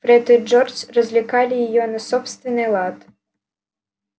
фред и джордж развлекали её на собственный лад